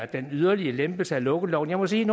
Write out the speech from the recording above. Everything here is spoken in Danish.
den yderligere lempelse af lukkeloven jeg må sige